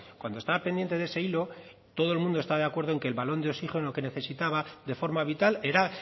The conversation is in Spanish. cuando estaba pendiente de ese hilo todo el mundo estaba de acuerdo en que el balón de oxígeno que necesitaba de forma vital era